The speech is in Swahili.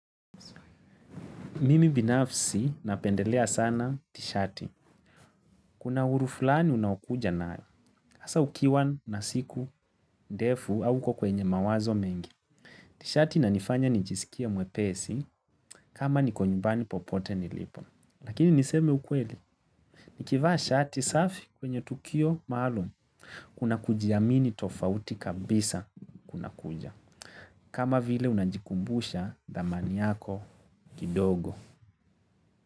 Mimi binafsi napendelea sana tishati. Kuna uhuru fulani unao kuja nayo. Hasa ukiwa na siku ndefu au uko kwenye mawazo mengi. Tishati inanifanya nijisikie mwepesi kama niko nyumbani popote nilipo. Lakini niseme ukweli. Nikivaa shati safi kwenye tukio malaum. Kuna kujiamini tofauti kabisa kunakuja. Kama vile unajikumbusha dhamani yako kidogo.